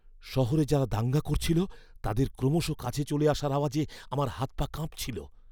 শহরে যারা দাঙ্গা করছিল তাদের ক্রমশ কাছে চলে আসার আওয়াজে আমার হাত পা কাঁপছিল!